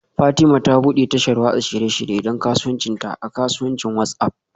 Fatima ta bude tashar watsa shirye-shirye don kasuwancinta a kasuwancin WhatsApp